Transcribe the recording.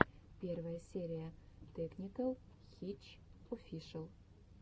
первая серия тэкникэл хитч офишэл